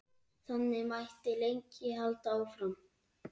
Þannig mætti lengi halda áfram.